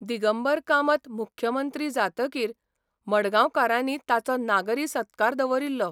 दिगंबर कामत मुखमंत्री जातकीर मडगांवकारांनी ताचो नागरी सत्कार दवरिल्लो.